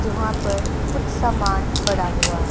जोहवां पर कुछ सामान पड़ा हुआ है।